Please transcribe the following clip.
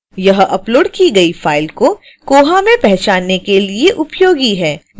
यह अपलोड की गई फाइल को koha में पहचानने के लिए उपयोगी है